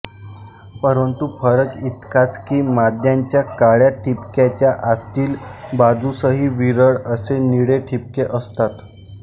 परंतु फरक इतकाच कि माद्यांच्या काळ्या ठिपक्याच्या आतील बाजूसही विरळ असे निळे ठिपके असतात